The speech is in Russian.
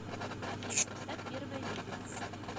афина поставь первое видео